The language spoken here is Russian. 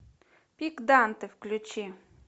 пик данте включи